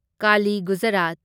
Kali Gujarat